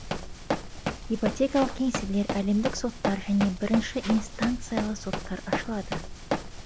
ипотекалық кеңселер әлемдік соттар және бірінші инстанциялы соттар ашылады